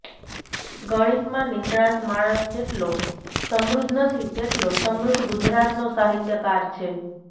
ગણિતમાં નિષ્ણાંત માણસ જેટલો સમૃધ્ધ નથી તેટલો સમૃધ્ધ ગુજરાતનો સાહિત્યકાર છે